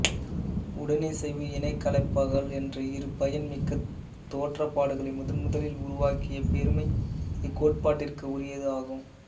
உடனிசைவு இனக்கலப்பாக்கல் என்ற இரு பயன் மிக்க தோற்றப்பாடுகளை முதன் முதலில் உருவாக் கிய பெருமை இக்கோட்பாட்டிற்கு உரியது ஆகும்